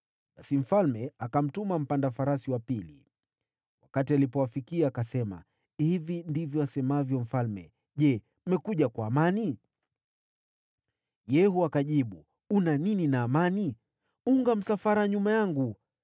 Basi mfalme akamtuma mpanda farasi wa pili. Wakati alipowafikia akasema, “Hivi ndivyo asemavyo mfalme, ‘Je, mmekuja kwa amani?’ ” Yehu akajibu, “Una nini na amani? Unga msafara nyuma yangu.”